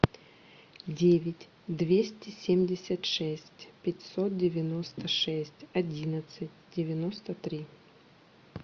девять двести семьдесят шесть пятьсот девяносто шесть одиннадцать девяносто три